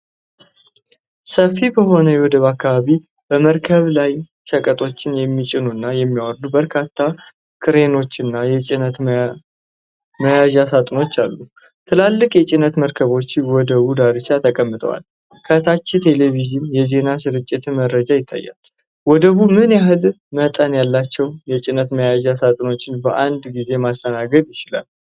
ሰፊ በሆነ የወደብ አካባቢ በመርከብ ላይ ሸቀጦችን የሚጭኑና የሚያወርዱ በርካታ ክሬኖችና የጭነት መያዣሳጥኖች አሉ። ትላልቅ የጭነት መርከቦች በወደቡ ዳርቻ ተቀምጠዋል። ከታች የቴሌቪዥን የዜና ስርጭት መረጃይታያል። ወደቡ ምን ያህል መጠን ያላቸው የጭነት መያዣ ሳጥኖችን በአንድ ጊዜ ማስተናገድ ይችላል?